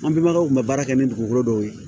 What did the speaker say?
An pebagaw tun bɛ baara kɛ ni dugukolo dɔw ye